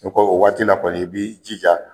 ko o waati la kɔni i b'i jija